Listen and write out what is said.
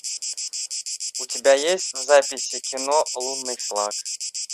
у тебя есть в записи кино лунный флаг